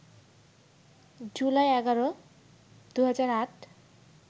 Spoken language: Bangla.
জুলাই ১১, ২০০৮